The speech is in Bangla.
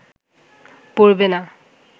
পড়বে না